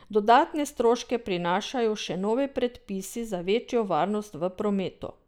Dodatne stroške prinašajo še novi predpisi za večjo varnost v prometu.